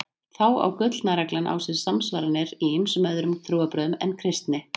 Þá á gullna reglan á sér samsvaranir í ýmsum öðrum trúarbrögðum en kristni.